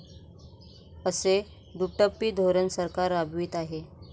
असे दुटप्पी धोरण सरकार राबवित आहे.